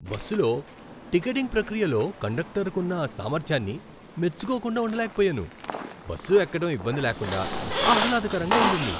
బస్సులో టికెటింగ్ ప్రక్రియలో కండక్టర్కున్న సామర్థ్యాన్ని మెచ్చుకోకుండా ఉండలేకపోయాను. బస్సు ఎక్కడం ఇబ్బంది లేకుండా, ఆహ్లాదకరంగా ఉండింది.